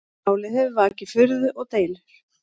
Málið hefur vakið furðu og deilur